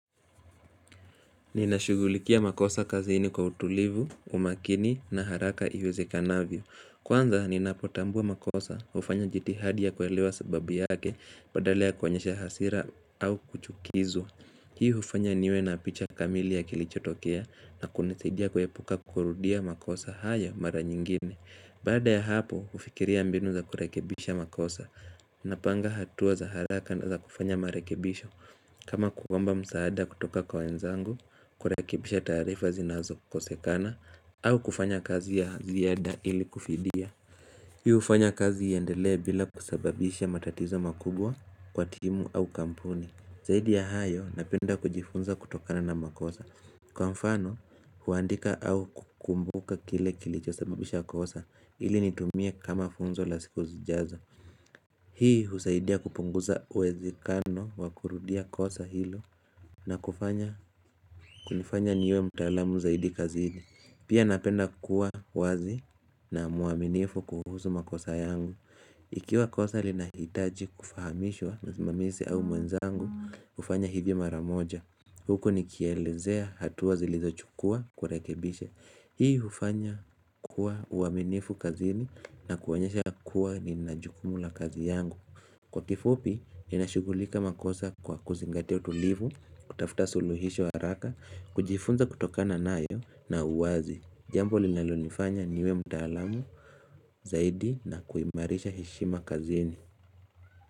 Ninashughulikia makosa kazini kwa utulivu, umakini na haraka iwezekanavyo. Kwanza ninapotambua makosa hufanya jitihadi ya kuelewa sababu yake badala ya kuonyesha hasira au kuchukizwa. Hii hufanya niwe na picha kamili ya kilichotokea na kunisaidia kuepuka kurudia makosa hayo mara nyingine. Baada ya hapo hufikiria mbinu za kurekebisha makosa napanga hatua za haraka na za kufanya marekebisho. Kama kuomba msaada kutoka kwa wenzangu, kurekebisha taarifa zinazokosekana, au kufanya kazi ya ziada ili kufidia. Hufanya kazi iendelee bila kusababisha matatizo makubwa kwa timu au kampuni. Zaidi ya hayo napenda kujifunza kutokana na makosa. Kwa mfano, huandika au kukumbuka kile kilichosababisha kosa ili nitumie kama funzo la siku zijazo. Hii husaidia kupunguza uwezekano wa kurudia kosa hilo na kunifanya niwe mutaalamu zaidi kazini. Pia napenda kuwa wazi na mwaminifu kuhusu makosa yangu. Ikiwa kosa linahitaji kufahamishwa msimamizi au mwenzangu, hufanya hivyo mara moja. Huko nikielezea hatua zilizochukua kurekebishe. Hii hufanya kuwa uaminifu kazini na kuonyesha kuwa nina jukumu la kazi yangu. Kwa kifupi, inashugulika makosa kwa kuzingatia utulivu, kutafuta suluhisho haraka, kujifunza kutokana nayo na uwazi. Jambo linalonifanya niwe mtaalamu, zaidi na kuimarisha heshima kazini.